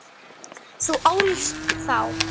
Þú ólst þá.